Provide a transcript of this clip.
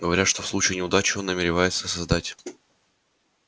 говорят что в случае неудачи он намеревается создать